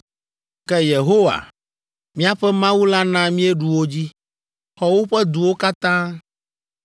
Ke Yehowa, míaƒe Mawu la na míeɖu wo dzi, xɔ woƒe duwo katã.